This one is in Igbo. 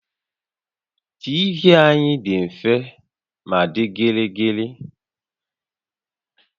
TV anyị dị mfe ma dị gịrịgịrị